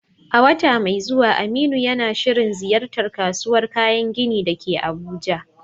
A wata mai zuwa, Aminu yana shirin ziyartar kasuwar kayan gini da ke Abuja.